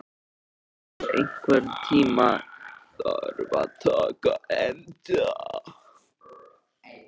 Leon, einhvern tímann þarf allt að taka enda.